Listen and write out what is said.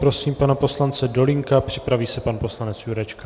Prosím pana poslance Dolínka, připraví se pan poslanec Jurečka.